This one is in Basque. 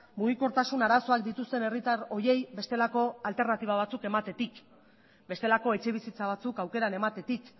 mugikortasun arazoak dituzten herritar horiei bestelako alternatiba batzuk ematetik bestelako etxebizitza batzuk aukeran ematetik